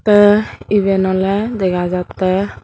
te iban ole dega jatte.